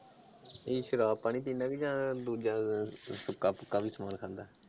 ਇਹ ਸ਼ਰਾਬ ਪਾਣੀ ਪੀਂਦਾ ਜਾਂ ਦੂਜਾ ਸੁੱਕਾ ਪੱਕਾ ਵੀ ਸਮਾਨ ਖਾਂਦਾ?